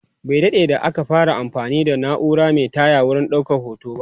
Bai daɗe da aka fara anfani da naura Mai taya wurin ɗaukan hoto ba